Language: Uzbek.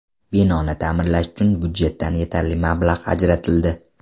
Binoni ta’mirlash uchun budjetdan yetarli mablag‘ ajratildi.